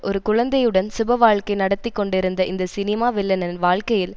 ஒரு குழந்தையுடன் சுபவாழ்க்கை நடத்தி கொண்டிருந்த இந்த சினிமா வில்லனின் வாழ்க்கையில்